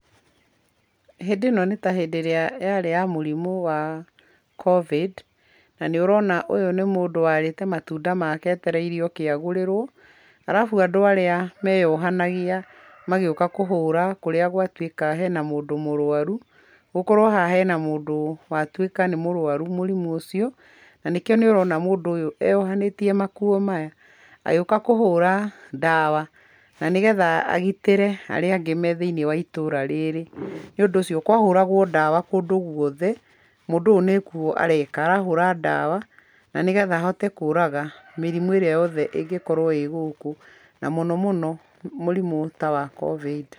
Hĩndĩ ĩno nĩ ta hĩndĩ ĩrĩa yarĩ ya mũrimũ wa COVID, na nĩ urona ũyũ nĩ mũndũ warĩte matũnda make etereire oke agũrĩrwo, alafu andũ arĩa meyohanagia magĩũka kũhũra kũrĩa gwatuĩka hena mũndũ mũrwaru, gũkorwo haha hena mũndũ watuĩka nĩ mũrwaru mũrimũ ucio, na nĩ kĩo nĩ urona mũndũ ũyũ eyohanĩtie makuo maya agĩũka kũhũra ndawa na nĩ getha agitĩre arĩa angĩ me thĩiniĩ wa itũra rĩrĩ. Nĩ ũndũ ũcio kwahũragwo ndawa kũndũ guothe, mũndũ ũyũ nĩ guo areka, arahũra ndawa na nĩ getha ahote kũraga mĩrimũ ĩrĩa yothe ĩngĩkorwo ĩ gũkũ na mũno mũno mũrimũ ta wa COVID.